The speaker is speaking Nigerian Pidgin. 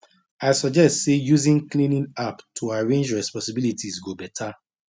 i suggest say using cleaning app to arrange responsibilities go better